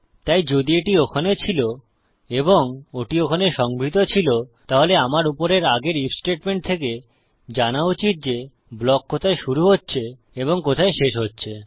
তাই যদি এটি ওখানে ছিল এবং ওটি ওখানে সংভৃত ছিল তাহলে আমার উপরের আগের আইএফ স্টেটমেন্ট থেকে জানা উচিত যে ব্লক কোথায় শুরু হচ্ছে এবং কোথায় শেষ হচ্ছে